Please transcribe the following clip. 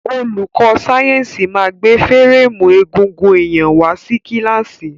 Olùkó sáyẹ́nsì ma gbé férémù egungun èyàn wá sí kílàsì.